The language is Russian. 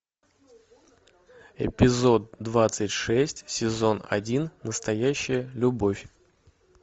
эпизод двадцать шесть сезон один настоящая любовь